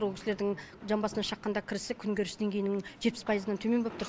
ол кісілердің жан басына шаққанда кірісі күнкөріс деңгейінің жетпіс пайызынан төмен болып тұр